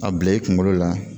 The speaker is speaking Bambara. A bila i kunkolo la